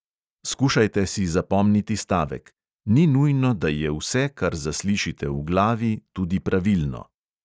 Skušajte si zapomniti stavek: "ni nujno, da je vse, kar zaslišite v glavi, tudi pravilno."